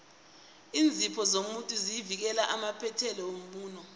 iinzipho zomuntu zivikela amaphethelo womuno